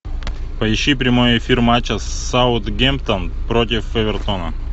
поищи прямой эфир матча саутгемптон против эвертона